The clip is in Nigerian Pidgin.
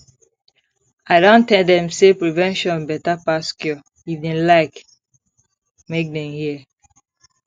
i don tell dem say prevention better pass cure if dem like make dem hear